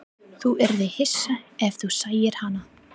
Þú yrðir hissa ef þú sæir hana.